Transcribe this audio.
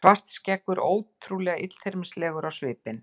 Svartskeggur ótrúlega illyrmislegur á svipinn.